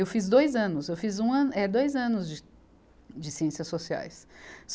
Eu fiz dois anos, eu fiz um ano, é dois anos de, de Ciências Sociais.